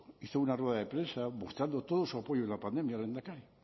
hizo una rueda de prensa mostrando todo su apoyo en la pandemia al lehendakari